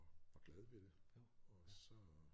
Og var glad ved det og så